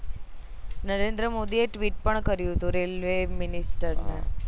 નરેન્દ્ર મોદી એ tweet પણ કર્યું હતું railway minister ને